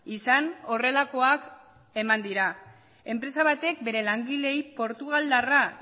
izan horrelakoak eman dira enpresa batek bere langileei portugaldarra